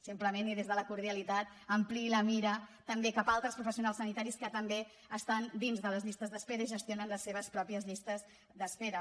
simplement i des de la cordialitat ampliï la mira també cap a altres professionals sanitaris que també estan dins de les llistes d’espera i gestionen les seves pròpies llistes d’espera